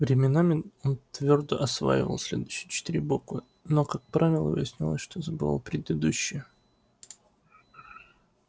временами он твёрдо осваивал следующие четыре буквы но как правило выяснялось что забывал предыдущие